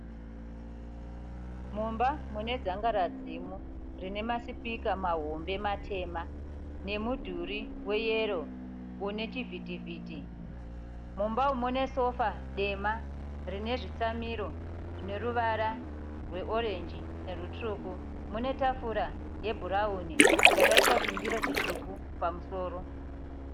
Mumba mune dzangaradzimu rine masipika mahome matema nemudhuri weyero une chivhitivhiti. Mumba umu mune sofa dema rine zvitsamiro zvine ruvara rwe (orange) nerutsvuku. Mune tafura yebhurawuni yakaiswa chindiro chitsvuku pamusoro.